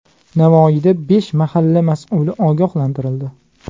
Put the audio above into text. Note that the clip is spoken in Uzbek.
Navoiyda besh mahalla mas’uli ogohlantirildi.